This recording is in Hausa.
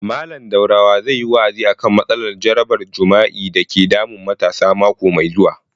Mallam Daurawa zai yi wa'azi a kan matsalar jarabar jima'i dake damun matasa mako mai zuwa